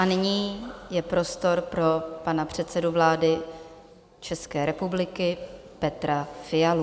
A nyní je prostor pro pana předsedu vlády České republiky Petra Fialu.